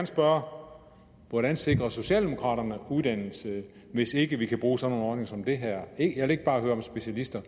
spørge hvordan sikrer socialdemokraterne uddannelse hvis ikke vi kan bruge sådan nogle ordninger som dem her jeg vil ikke bare høre om specialister